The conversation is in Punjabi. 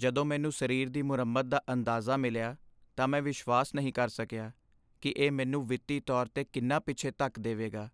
ਜਦੋਂ ਮੈਨੂੰ ਸਰੀਰ ਦੀ ਮੁਰੰਮਤ ਦਾ ਅੰਦਾਜ਼ਾ ਮਿਲਿਆ, ਤਾਂ ਮੈਂ ਵਿਸ਼ਵਾਸ ਨਹੀਂ ਕਰ ਸਕਿਆ ਕਿ ਇਹ ਮੈਨੂੰ ਵਿੱਤੀ ਤੌਰ 'ਤੇ ਕਿੰਨਾ ਪਿੱਛੇ ਧੱਕ ਦੇਵੇਗਾ।